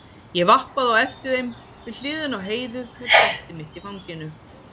Ég vappaði á eftir þeim við hliðina á Heiðu með brettið mitt í fanginu.